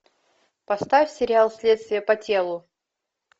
поставь сериал следствие по телу